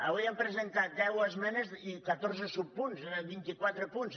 avui han presentat deu esmenes i catorze subpunts vint quatre punts